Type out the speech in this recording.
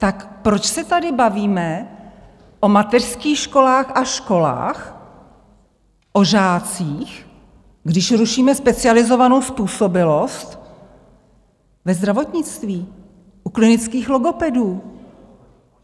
Tak proč se tady bavíme o mateřských školách a školách, o žácích, když rušíme specializovanou způsobilost ve zdravotnictví, u klinických logopedů?